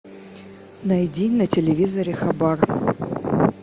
найди на телевизоре хабар